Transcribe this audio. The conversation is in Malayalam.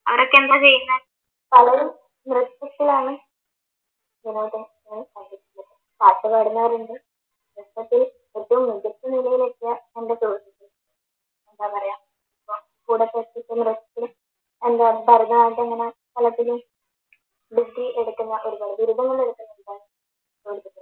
എന്താ പറയാ